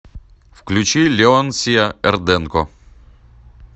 включи леонсия эрденко